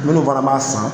Minnu fana b'a san